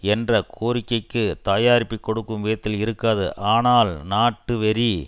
என்ற கோரிக்கைக்கு தயாரிப்பு கொடுக்கும் விதத்தில் இருக்காது ஆனால் நாட்டு வெறி